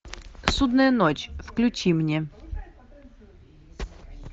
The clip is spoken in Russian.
судная ночь включи мне